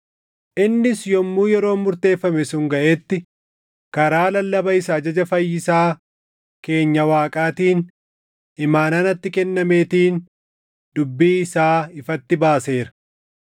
innis yommuu yeroon murteeffame sun gaʼetti karaa lallaba isa ajaja Fayyisaa keenya Waaqaatiin imaanaa natti kennameetiin dubbii isaa ifatti baaseera,